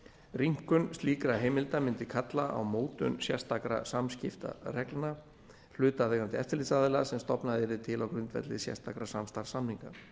rýmkun slíkra heimilda mundi kalla á mótun sérstakra samskiptareglna hlutaðeigandi eftirlitsaðila sem stofnað yrði til á grundvelli sérstakra samstarfssamninga